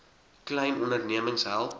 klein ondernemings help